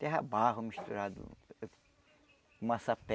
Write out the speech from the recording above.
Terra barro misturado com massapé.